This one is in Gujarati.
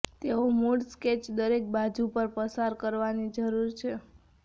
તેઓ મૂળ સ્કેચ દરેક બાજુ પર પસાર કરવાની જરૂર છે